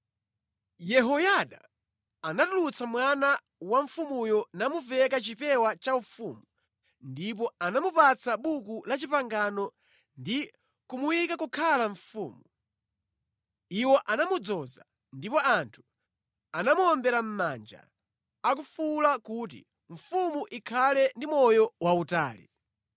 Yehoyada anatulutsa mwana wa mfumuyo namuveka chipewa chaufumu ndipo anamupatsa Buku la Chipangano ndi kumuyika kukhala mfumu. Iwo anamudzoza ndipo anthu anamuwombera mʼmanja akufuwula kuti, “Mfumu ikhale ndi moyo wautali!”